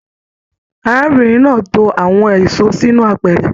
Arábìnrin náà tó àwọn èso sínú àpẹrẹ.